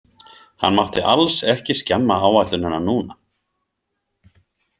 Hann mátti alls ekki skemma áætlunina núna.